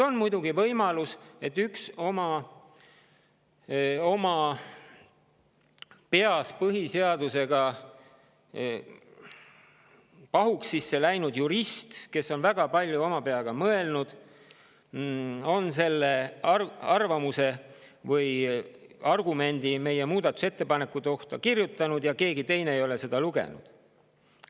On muidugi võimalus, et sellise arvamuse meie muudatusettepanekute kohta või selle argumendi pani kirja üks oma peas põhiseadusega pahuksisse läinud jurist, kes on väga palju oma peaga mõelnud, ja keegi teine pole seda lugenud.